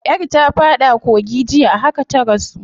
Yar ta fada kogi jiya, a haka ta rasu.